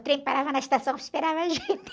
O trem parava na estação e esperava a gente.